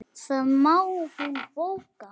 Það má hún bóka.